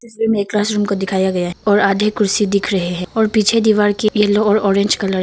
तस्वीर में एक क्लासरूम को दिखाया गया और आधे कुर्सी दिख रहे है और पीछे दीवार के येलो और ऑरेंज कलर --